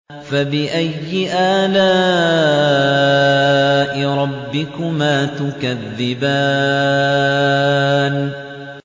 فَبِأَيِّ آلَاءِ رَبِّكُمَا تُكَذِّبَانِ